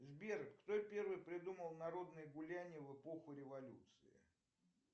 сбер кто первый придумал народные гуляния в эпоху революции